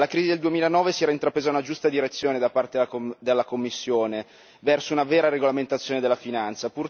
Dalla crisi del 2009 si era intrapresa una giusta direzione, da parte della Commissione verso, una vera regolamentazione della finanza.